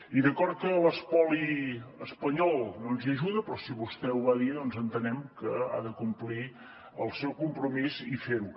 i d’acord que l’espoli espanyol no ens hi ajuda però si vostè ho va dir doncs entenem que ha de complir el seu compromís i fer ho